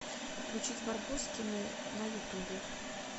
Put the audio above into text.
включить барбоскины на ютубе